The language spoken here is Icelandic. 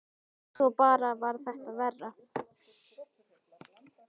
Svo bara varð þetta verra.